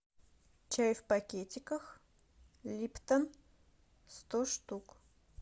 чай в пакетиках липтон сто штук